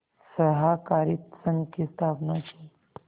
सहाकारित संघ की स्थापना की